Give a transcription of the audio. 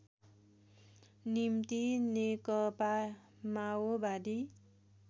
निम्ति नेकपा माओवादी